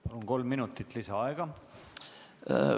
Palun, kolm minutit lisaaega!